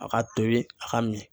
A ka tobi a ka min.